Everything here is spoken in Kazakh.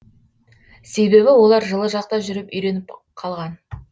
себебі олар жылы жақта жүріп үйреніп қалған